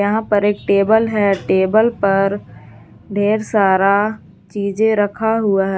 यहां पर एक टेबल है टेबल पर ढेर सारा चीज़ें रखा हुआ है।